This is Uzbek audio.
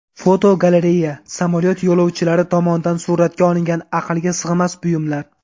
Fotogalereya: Samolyot yo‘lovchilari tomonidan suratga olingan aqlga sig‘mas buyumlar.